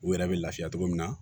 U yɛrɛ bɛ lafiya togo min na